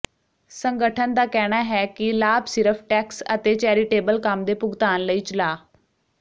ਸੰਗਠਨ ਦਾ ਕਹਿਣਾ ਹੈ ਕਿ ਲਾਭ ਸਿਰਫ ਟੈਕਸ ਅਤੇ ਚੈਰੀਟੇਬਲ ਕੰਮ ਦੇ ਭੁਗਤਾਨ ਲਈ ਚਲਾ